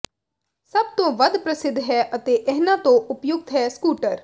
ਸਭ ਤੋਂ ਵੱਧ ਪ੍ਰਸਿੱਧ ਹੈ ਅਤੇ ਇਹਨਾਂ ਤੋਂ ਉਪਯੁਕਤ ਹੈ ਸਕੂਟਰ